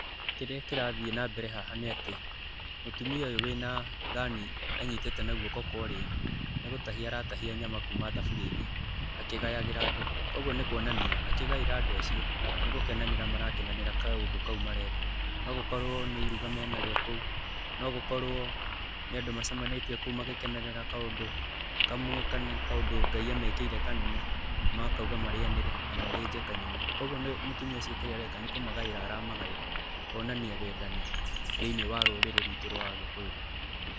Kĩrĩa kĩrathiĩ na mbere haha nĩ atĩ, mũtumia ũyũ wĩ na thani anyitĩte na guoko kwa ũrĩo, nĩ gũtahia aratahia nyama kuuma thaburia-inĩ akĩgayagĩra andũ. Kũguo nĩ kuonania akĩgaĩra andũ acio nĩ gũkenanĩra marakenanĩra kaũndũ kau mareka. No gũkorwo nĩ iruga mena rĩo kũu, no gũkorwo nĩ andũ macemanĩtie kũu magĩkenerera kaũndũ kamwe kana kaũndũ Ngai amekĩire kanene, makauga marĩanĩre na mathĩnje kanyama. Kũguo nĩ, mũtumia ũcio kĩrĩa areka nĩ kũmagaĩra aramagaĩra kuonania wendani thĩiniĩ wa rũrĩrĩ rwitũ rwa Agĩkũyũ.